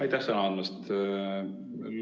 Aitäh sõna andmast!